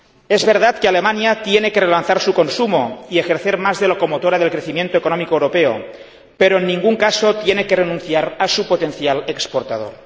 Es verdad que Alemania tiene que relanzar su consumo y ejercer más de locomotora del crecimiento económico europeo, pero en ningún caso tiene que renunciar a su potencial exportador.